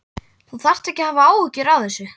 Þú þarft ekki að hafa áhyggjur af þessu.